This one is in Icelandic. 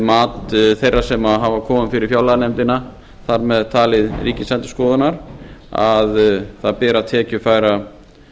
mat þeirra sem hafa komið fyrir fjárlaganefndina þar með talið ríkisendurskoðunar að það beri að tekjufæra